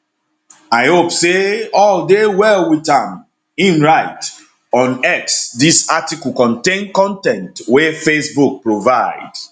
i hope say all dey well wit am im write on x dis article contain con ten t wey facebook provide